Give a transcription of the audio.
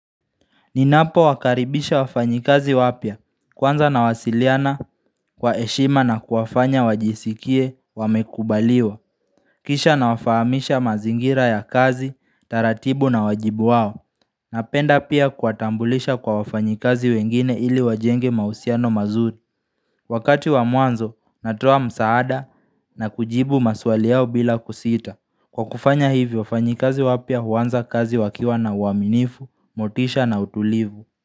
Ninapo wakaribisha wafanyikazi wapya kwanza nawasiliana kwa heshima na kuwafanya wajisikie wamekubaliwa Kisha nawafahamisha mazingira ya kazi, taratibu na wajibu wao Napenda pia kuwatambulisha kwa wafanyikazi wengine ili wajenge mahusiano mazuri Wakati wa mwanzo natoa msaada na kujibu maswali yao bila kusita Kwa kufanya hivyo wafanyakazi wapya huanza kazi wakiwa na uaminifu, motisha na utulivu.